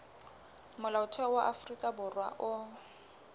molaotheo wa afrika borwa o